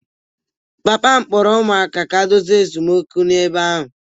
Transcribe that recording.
Papa m kpọrọ ụmụaka ka ha dozie esemokwu n'ebe ahụ